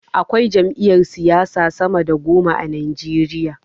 Akwai jam'iyar siyasa sama da goma a najeriya